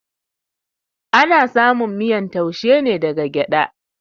Ana samun miyan taushe ne daga gyada